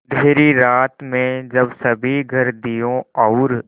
अँधेरी रात में जब सभी घर दियों और